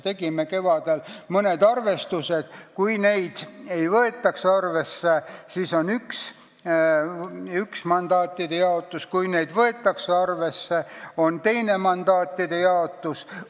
Tegime kevadel mõned arvestused: kui neid ei võeta arvesse, siis on üks mandaatide jaotus, kui neid võetakse arvesse, siis on teine mandaatide jaotus.